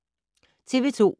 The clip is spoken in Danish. TV 2